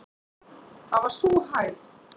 Það var sú hæð.